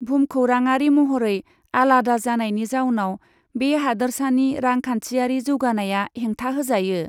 भुमखौराङारि महरै आलादा जानायनि जाउनाव बे हादोरसानि रांखान्थियारि जौगानाया हेंथा होजायो।